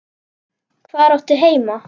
Hvar áttu heima?